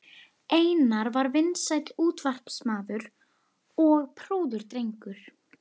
Einar var vinsæll útvarpsmaður og prúður drengur.